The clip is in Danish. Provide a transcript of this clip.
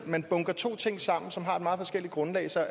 man bunker to ting sammen som har et meget forskelligt grundlag så